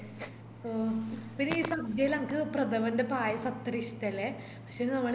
ഓ പിന്നെ ഈ സദ്യയില് അനക്ക് ഈ പ്രഥമന്റെ പായസം അത്രേ ഇഷ്ട്ടല്ലേ പക്ഷേ ഇത് നമ്മള്